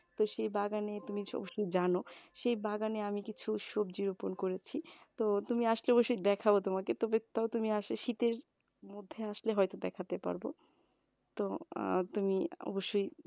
তো সেই বাগানে তুমি তো অবশ্যই জানো সেই বাগানে আমি কিছু সবজি রোপন করেছি তো তুমি আসলে দেখাবো তোমাকে তো শীতের মধ্যে আসলে হয়তো দেখাতে পারবো তো আহ তুমি অবশ্যই